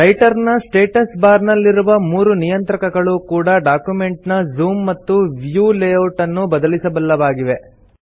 writer ನ status bar ನಲ್ಲಿರುವ ಮೂರು ನಿಯಂತ್ರಕಗಳು ಕೂಡಾ ಡಾಕ್ಯುಮೆಂಟ್ ನ ಜೂಮ್ ಮತ್ತು ವ್ಯೂ ಲೇಯೌಟ್ ಅನ್ನು ಬದಲಿಸಬಲ್ಲವಾಗಿವೆ